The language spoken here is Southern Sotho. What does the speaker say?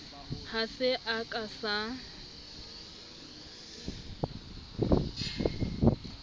ha se a ka sa